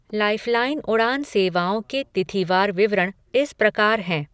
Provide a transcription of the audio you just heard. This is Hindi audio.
लाइफ़लाइन उड़ान सेवाओं के तिथिवार विवरण इस प्रकार हैं।